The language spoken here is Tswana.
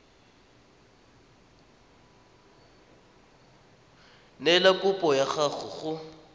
neela kopo ya gago go